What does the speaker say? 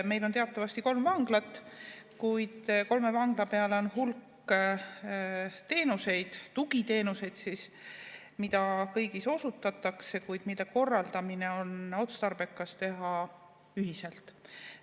Meil on teatavasti kolm vanglat, kuid kolme vangla peale on hulk teenuseid, tugiteenuseid, mida kõigis osutatakse, kuid mida oleks otstarbekas korraldada ühiselt.